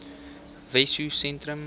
wessosentrum